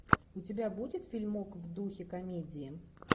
у тебя будет фильмок в духе комедии